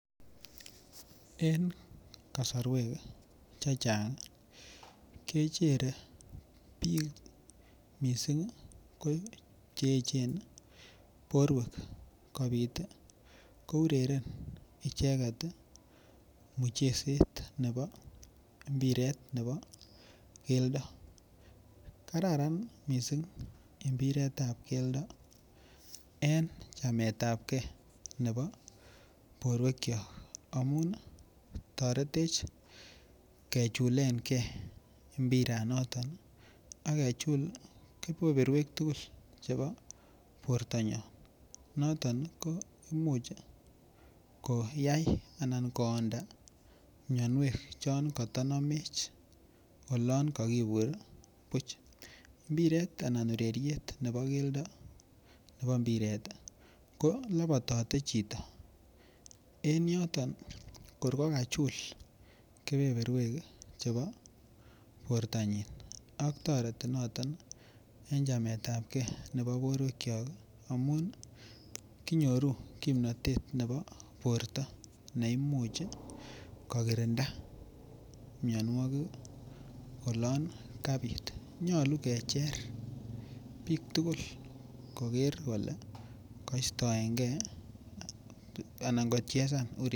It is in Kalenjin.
En kasarwek Che Chang kechere bik mising ko Che echen borwek kobit ko ureren icheget mucheset nebo mpiret ab keldo kararan mising mpiret ab keldo en chameetapgei nebo borwekyok amun toretech kechulen ge mpiranoto ak kechul keberta age tugul nebo bortanyon noton ko Imuch koyai Anan koonda mianwek chon kotanamech olon ko kibur buch mpiret anan ureriet nebo keldo nebo mpiret ko lobotote chito en yoton ko kor kokachul keberberwek chebo bortanyin ak toreti noton en chameetapgei nebo borwekyok amun kinyoru kimnatet nebo borto ne Imuch koonda mianwogik oloon kabit nyolu kecher bik tugul koger kole kachezan ureriet ab keldo